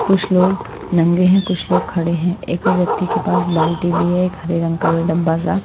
कुछ लोग नंगे हैं कुछ लोग खड़े हैं एक व्यक्ति के पास बाल्टी भी है एक हरे रंग का डब्बा सा--